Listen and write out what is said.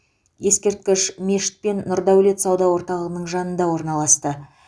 ескерткіш мешіт пен нұрдәулет сауда орталығының жанында орналасты